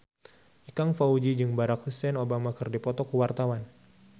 Ikang Fawzi jeung Barack Hussein Obama keur dipoto ku wartawan